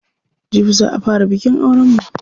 Jibi za a fara bikin auren mu.